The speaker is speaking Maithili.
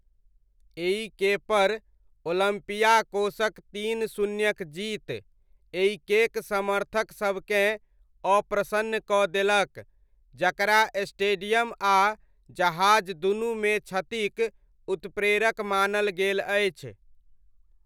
एइकेपर, ओलम्पियाकोसक तीन शून्यक जीत, एइकेक समर्थक सबकेँ अप्रसन्न कऽ देलक, जकरा स्टेडियम आ जहाज दूनूमे क्षतिक उत्प्रेरक मानल गेल अछि।